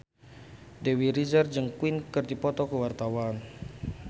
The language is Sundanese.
Dewi Rezer jeung Queen keur dipoto ku wartawan